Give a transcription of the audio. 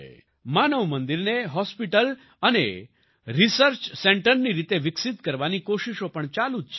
માનવ મંદિરને હોસ્પિટલ અને રિસર્ચ સેન્ટરની રીતે વિકસિત કરવાની કોશિશો પણ ચાલુ જ છે